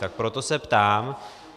Tak proto se ptám.